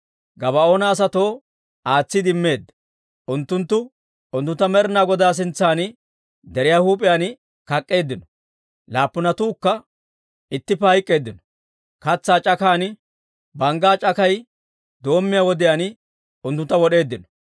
Gabaa'oona asatoo aatsiide immeedda; unttunttu unttuntta Med'inaa Godaa sintsan deriyaa huup'iyaan kak'k'eeddino; laappunatuukka ittippe hayk'k'eeddino; katsaa c'akan, banggaa c'akay doommiyaa wodiyaan unttuntta wod'eeddino.